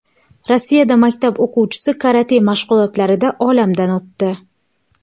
Rossiyada maktab o‘quvchisi karate mashg‘ulotlarida olamdan o‘tdi.